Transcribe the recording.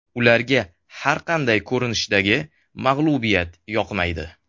Ularga har qanday ko‘rinishdagi mag‘lubiyat yoqmaydi.